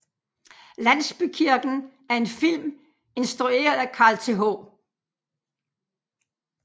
Landsbykirken er en film instrueret af Carl Th